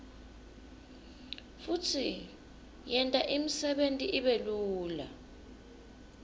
futsi yenta imsebenti ibelula